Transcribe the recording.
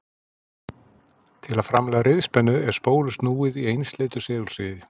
Til að framleiða riðspennu er spólu snúið í einsleitu segulsviði.